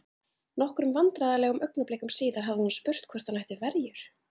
Nokkrum vandræðalegum augnablikum síðar hafði hún spurt hvort hann ætti verjur?